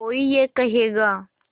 कोई ये कहेगा